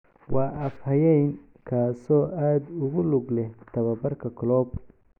Waa af-hayeen, kaasoo aad ugu lug leh tababarka Klopp.